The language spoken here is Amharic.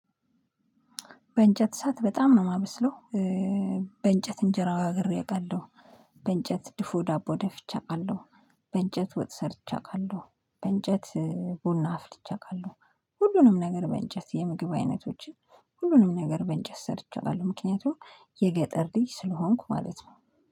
በእንጨት እሳት በጣም ነው የማበስለው። በእንጨት እንጀራ ጋግሬ አውቃለሁ። በእንጨት ድፉ ዳቦ ደፍቼ አውቃለሁ። በእንጨት ወጥ ሰርቼ አውቃለሁ። በእንጨት ቡና አፍልቼ አውቃለሁ። ሁሉንም ነገር በእንጨት የምግብ አይነቶችን ሁሉንም ነገር በእንጨት ሰርቼ አውቃለሁ። ምክንያቱም የገጠር ልጅ ስለሆንኩ ማለት ነው።